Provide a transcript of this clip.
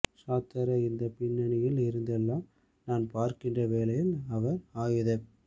ஸார்த்தரை இந்தப் பின்னணியில் இருந்தெல்லாம் நாம் பார்க்கிற வேளையில் அவர் ஆயுதப்